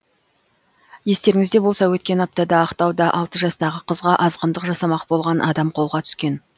естеріңізде болса өткен аптада ақтауда алты жастағы қызға азғындық жасамақ болған адам қолға түскен